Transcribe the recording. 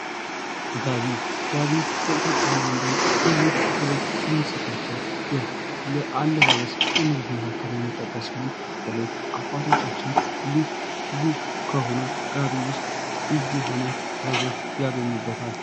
ጋቢ:- ጋቢ በኢትዮጵያዉያን ዘንድ ልዩ ክብር ከሚሰጣቸዉ የአለባበስ አይነቶች መካከል የሚጠቀስ ሲሆን በተለይ አባቶቻችን ልዩ ከሆነዉ ጋቢ ዉስጥ ልዩ የሆነ ጥበብን ያገኙበታል።